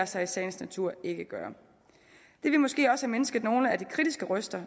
sig i sagens natur ikke gøre det ville måske også have mindsket nogle af de kritiske røster